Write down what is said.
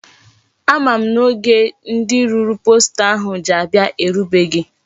Ama m na oge ndi rụrụ posta ahụ ji abia erubeghi.